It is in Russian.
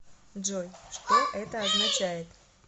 джой что это означает